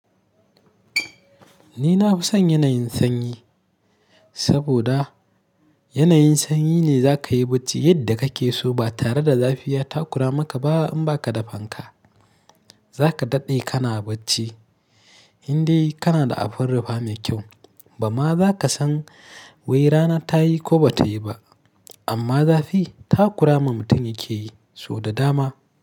Ni na fi son yanayin sanyi saboda yanayin sanyi ne za ka yi bacci yadda ka ke so ba tare da zafi ya takura maka ba in ba ka da fanka. Za ka daɗe ka na bacci in dai ka na da abin rufa mai kyau. Ba ma za ka san wai rana ta yi ko ba ta yi ba. Amma zafi ta kurama mutum yake yi sau da dama.